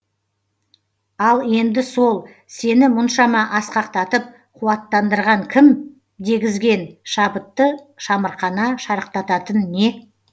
ал енді сол сені мұншама асқақтатып қуаттандырған кім дегізген шабытты шамырқана шарықтататын не